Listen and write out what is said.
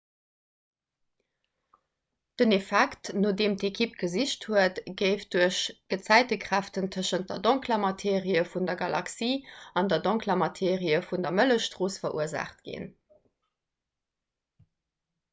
den effekt no deem d'ekipp gesicht huet géif duerch gezäitekräften tëschent der donkeler materie vun der galaxie an der donkeler materie vun der mëllechstrooss verursaacht ginn